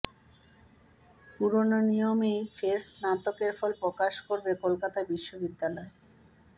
পুরনো নিয়মেই ফের স্নাতকের ফল প্রকাশ করবে কলকাতা বিশ্ববিদ্যালয়